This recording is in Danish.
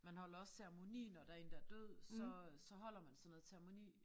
Man holder også ceremoni når der én der er død så så holder man sådan noget ceremoni